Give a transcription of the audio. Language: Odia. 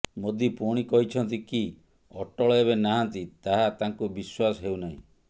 ମୋଦୀ ପୁଣି କହିଛନ୍ତି କି ଅଟଳ ଏବେ ନାହାଁନ୍ତି ତାହା ତାଙ୍କୁ ବିଶ୍ୱାସ ହେଉ ନାହିଁ